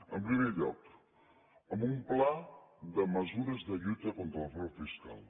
en primer lloc amb un pla de mesures de lluita contra el frau fiscal